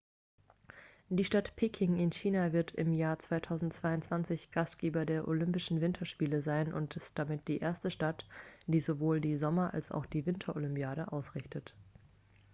die stadt peking in china wird im jahr 2022 gastgeber der olympischen winterspiele sein und ist damit die erste stadt die sowohl die sommer als auch die winterolympiade ausrichtet